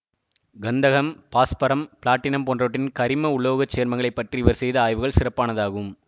கந்தகம் பாஸ்பரம் பிளாட்டினம் போன்றவற்றின் கரிம உலோகச் சேர்மங்களைப் பற்றி இவர் செய்த ஆய்வுகள் சிறப்பானதாகும்